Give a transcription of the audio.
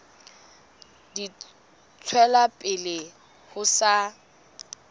di tswela pele ho sa